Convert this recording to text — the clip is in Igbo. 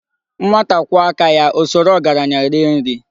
Nwata kwụọ aka ya, O soro ogaranya rie nri.